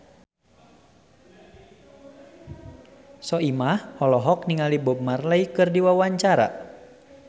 Soimah olohok ningali Bob Marley keur diwawancara